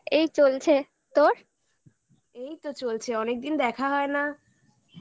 এই চলছে তোর ? এইতো চলছে অনেকদিন দেখা হয় না